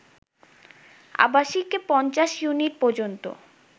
আবাসিকে ৫০ unit পর্যন্ত